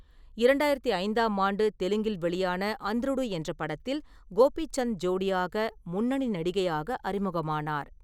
இரண்டாயிரத்து ஐந்தாம் ஆண்டு தெலுங்கில் வெளியான அந்த்ருடு என்ற படத்தில் கோபிசந்த் ஜோடியாக முன்னணி நடிகையாக அறிமுகமானார்.